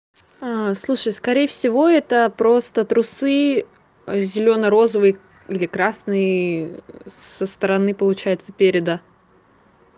ну слушай скорее всего это просто трусы зелено-розовые или красные со стороны получается переда